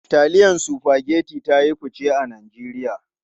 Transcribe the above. Taliyan Spaghetti ta yi fice a Najeriya.